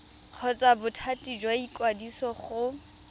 kgotsa bothati jwa ikwadiso go